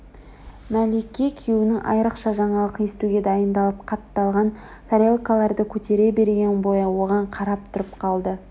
мәлике күйеуінің айрықша жаңалық естуге дайындалып қатталған тарелкаларды көтере берген бойы оған қарап тұрып қалды